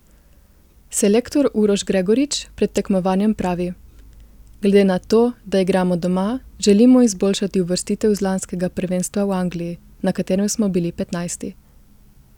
Selektor Uroš Gregorič pred tekmovanjem pravi: 'Glede na to, da igramo doma, želimo izboljšati uvrstitev z lanskega prvenstva v Angliji, na katerem smo bili petnajsti.